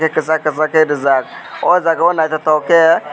tei kisak kisak ke rijak o jaga o naitotok ke.